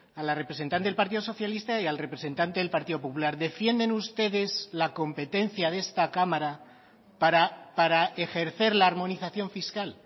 a la representante del partido socialista y al representante del partido popular defienden ustedes la competencia de esta cámara para ejercer la armonización fiscal